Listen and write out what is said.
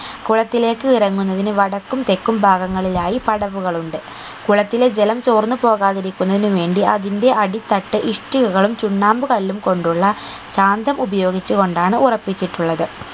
കുളത്തിലേക്ക് ഇറങ്ങുന്നതിന് വടക്കും തെക്കും ഭാഗങ്ങളിലായി പടവുകൾ ഉണ്ട് കുളത്തിലെ ജലം തോർന്ന് പോകാതിരിക്കുന്നതിനു വേണ്ടി അതിന്റെ അടി തട്ട് ഇഷ്ടികകളും ചുണ്ണാമ്പ് കല്ലും കൊണ്ടുള്ള കാന്തം ഉപയോഗിച്ചു കൊണ്ടാണ് ഉറപ്പിച്ചിട്ടുള്ളത്